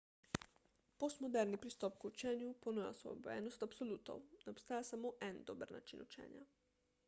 postmoderni pristop k učenju ponuja osvobojenost od absolutov ne obstaja samo en dober način učenja